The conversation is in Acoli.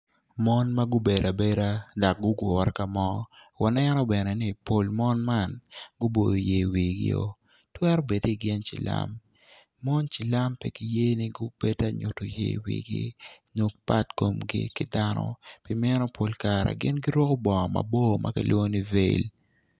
Mon ma gubedo abeda dok gugure ka mo waneno bene ni pol mon man guboyo ye wigio twero bedi gin cilam mon cilam pe giye ni gubed ta nyutu yer wigi nyo pat komgi ki dano pi meno pol kare gin guruku bongo maboco ma kilwongo ni vel